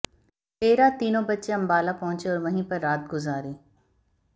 देर रात तीनों बच्चे अंबाला पहुंचे और वहीं पर रात गुजारी